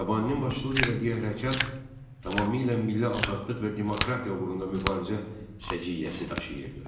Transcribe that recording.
Xiyabaninin başçılıq etdiyi hərəkat tamamilə milli azadlıq və demokratiya uğrunda mübarizə səciyyəsi daşıyırdı.